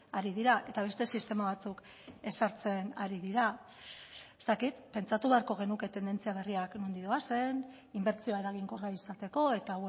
ari dira eta beste sistema batzuk ezartzen ari dira ez dakit pentsatu beharko genuke tendentzia berriak nondik doazen inbertsioa eraginkorra izateko eta